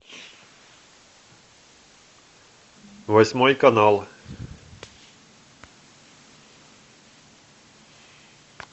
восьмой канал